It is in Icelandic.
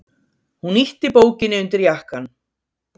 Hún ýtti bókinni undir jakkann.